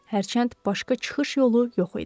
Hərçənd başqa çıxış yolu yox idi.